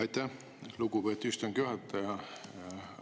Aitäh, lugupeetud istungi juhataja!